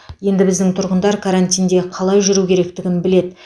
енді біздің тұрғындар карантинде қалай жүру керектігін біледі